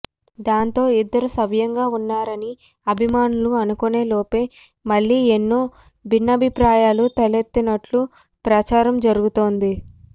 దాంతో ఇద్దరూ సవ్యంగా ఉన్నారని అభిమానులు అనుకునేలోపే మళ్లీ ఏవో బిన్నాభిప్రాయాలు తలెత్తినట్లు ప్రచారం జరుగుతోంది